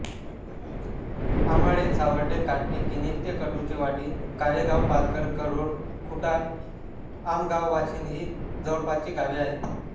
आमाळे सावर्डे काष्टी किणीस्ते कडूचीवाडी कारेगाव पाचघर करोळ खुटाळआमगाववाशिंद ही जवळपासची गावे आहेत